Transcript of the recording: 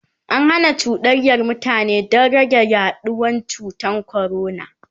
an Hana cuɗanyar mutane Dan rage yaduwan cutan corona